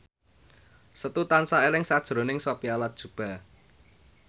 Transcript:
Setu tansah eling sakjroning Sophia Latjuba